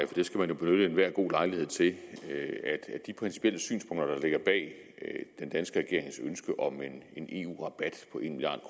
det skal man jo benytte enhver god lejlighed til at de principielle synspunkter der ligger bag den danske regerings ønske om en eu rabat på en milliard